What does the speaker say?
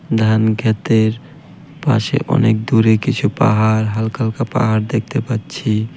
ধানক্ষেতের পাশে অনেক দূরে কিছু পাহাড় হালকা হালকা পাহাড় দেখতে পাচ্ছি ।